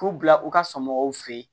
K'u bila u ka somɔgɔw fɛ yen